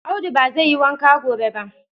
Audu ba zai yi wanka gobe ba